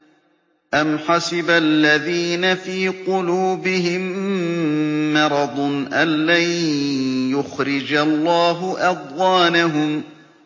أَمْ حَسِبَ الَّذِينَ فِي قُلُوبِهِم مَّرَضٌ أَن لَّن يُخْرِجَ اللَّهُ أَضْغَانَهُمْ